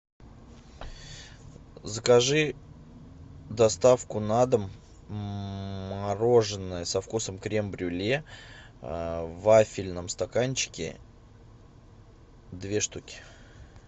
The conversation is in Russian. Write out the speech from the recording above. закажи доставку на дом мороженое со вкусом крем брюле в вафельном стаканчике две штуки